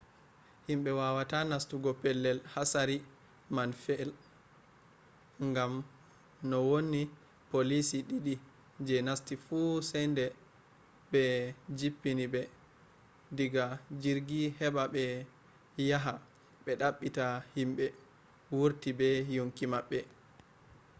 himɓe wawata nastugo pellel hatsari man fe’i gam no wonni poliici ɗiɗi je nasti fu sai de ɓbe jippini ɓe diga jirgi heɓa ɓe yaha ɓe ɗaɓɓita himɓe wurti be yonki maɓɓe